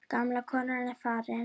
Gamla konan er farin.